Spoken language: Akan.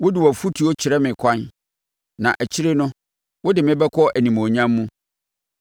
Wode wʼafotuo kyerɛ me ɛkwan; na akyire no, wode me bɛkɔ animuonyam mu.